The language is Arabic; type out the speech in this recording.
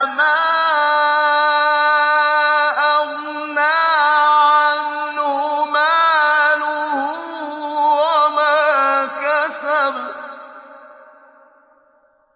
مَا أَغْنَىٰ عَنْهُ مَالُهُ وَمَا كَسَبَ